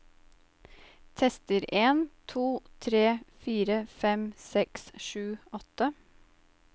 Tester en to tre fire fem seks sju åtte